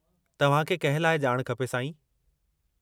तव्हांखे कंहिं लाइ ॼाण खपे, साईं?